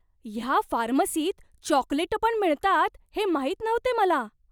ह्या फार्मसीत चॉकलेटं पण मिळतात हे माहीत नव्हते मला!